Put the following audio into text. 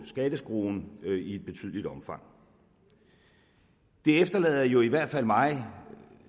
skatteskruen i betydeligt omfang det efterlader i hvert fald mig